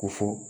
Ko fɔ